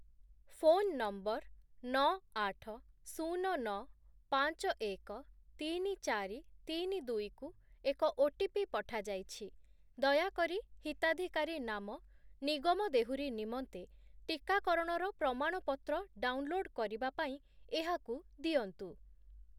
Phone number ନଅ, ଆଠ, ଶୂନ, ନଅ, ପାଞ୍ଚ, ଏକ, ତିନି, ଚାରି, ତିନି, ଦୁଇ କୁ ଏକ ଓଟିପି ପଠାଯାଇଛି । ଦୟାକରି ହିତାଧିକାରୀ ନାମ ନିଗମ ଦେହୁରୀ ନିମନ୍ତେ ଟିକାକରଣର ପ୍ରମାଣପତ୍ର ଡାଉନ୍‌ଲୋଡ୍ କରିବା ପାଇଁ ଏହାକୁ ଦିଅନ୍ତୁ ।